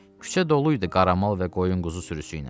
Küçə doluydu qaramal və qoyun quzu sürüsü ilə.